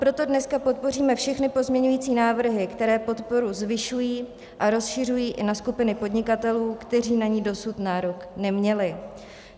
Proto dneska podpoříme všechny pozměňující návrhy, které podporu zvyšují a rozšiřují i na skupiny podnikatelů, kteří na ni dosud nárok neměli.